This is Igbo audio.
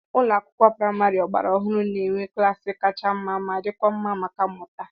Ulo akwụkwọ praịmarị ọgbara ọhụrụ ga-enwe klaasị kacha mma ma dịkwa mma maka mmụta.